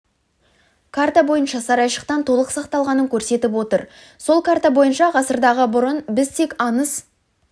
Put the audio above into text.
карта бойынша сарайшықтың толық сақталғанын көрсетіп отыр сол карта бойынша ғасырдағы бұрын біз тек аңыз